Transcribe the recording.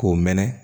K'o mɛnɛ